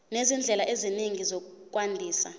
nezindlela ezinye zokwandisa